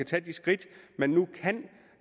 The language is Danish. tage de skridt men nu kan